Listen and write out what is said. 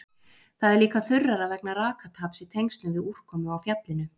Það er líka þurrara vegna rakataps í tengslum við úrkomu á fjallinu.